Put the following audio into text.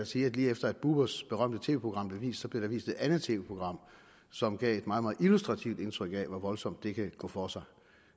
sige at lige efter at bubbers berømte tv program blev vist blev der viste et andet tv program som gav et meget illustrativt indtryk af hvor voldsomt det kan gå for sig